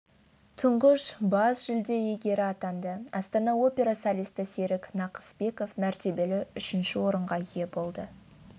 тұңғыш бас жүлде иегері атанды астана опера солисті серік нақыспеков мәртебелі үшінші орынға ие болды